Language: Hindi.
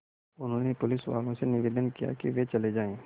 उन्होंने पुलिसवालों से निवेदन किया कि वे चले जाएँ